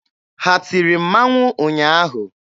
Ha tiri mmanwụ ụnyaahụ?